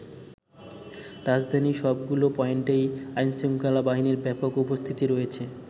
রাজধানীর সবগুলো পয়েন্টেই আইনশৃঙ্খলা বাহিনীর ব্যাপক উপস্থিতি রয়েছে।